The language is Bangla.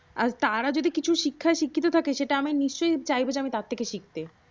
আর তারও যদি কিছু শিক্ষায় শিক্ষিত থাকে সেটা আমি নিশ্চই চাইব যে আমি তার থেকে শিখি